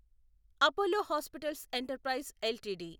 Apollo hospitals enterprise LTD